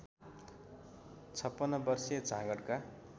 ५६ वर्षीय झाँगडका